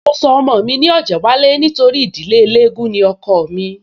Mo sọ ọmọ mi ní Ọ̀jẹ́wálé nítorí ìdílé eléégún ni ọkọọ̀ mí